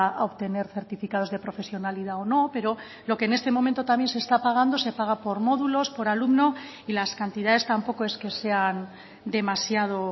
a obtener certificados de profesionalidad o no pero lo que en este momento también se está pagando se paga por módulos por alumno y las cantidades tampoco es que sean demasiado